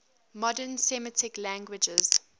modern semitic languages